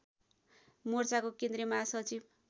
मोर्चाको केन्द्रीय महासचिव